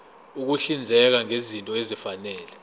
ukuhlinzeka ngezinto ezifanele